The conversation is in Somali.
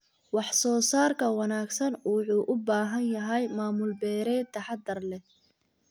Wax soo saarka wanaagsan wuxuu u baahan yahay maamul beereed taxaddar leh.